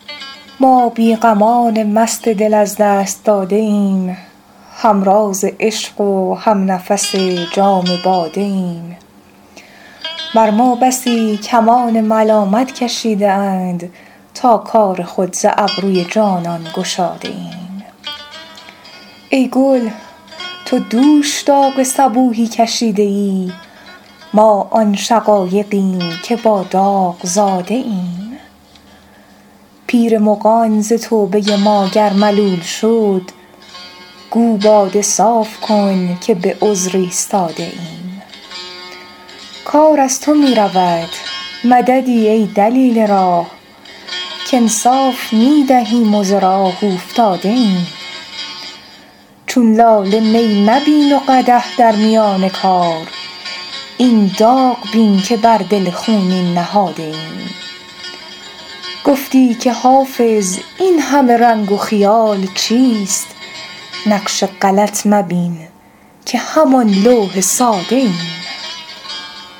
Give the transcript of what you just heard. ما بی غمان مست دل از دست داده ایم هم راز عشق و هم نفس جام باده ایم بر ما بسی کمان ملامت کشیده اند تا کار خود ز ابروی جانان گشاده ایم ای گل تو دوش داغ صبوحی کشیده ای ما آن شقایقیم که با داغ زاده ایم پیر مغان ز توبه ما گر ملول شد گو باده صاف کن که به عذر ایستاده ایم کار از تو می رود مددی ای دلیل راه کانصاف می دهیم و ز راه اوفتاده ایم چون لاله می مبین و قدح در میان کار این داغ بین که بر دل خونین نهاده ایم گفتی که حافظ این همه رنگ و خیال چیست نقش غلط مبین که همان لوح ساده ایم